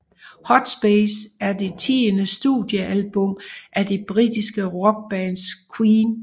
Hot Space er det tiende studiealbum af det britiske rockband Queen